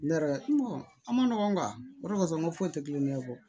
Ne yɛrɛ a ma nɔgɔn o de kasɔn n ka foyi tɛ kulonkɛ fɔ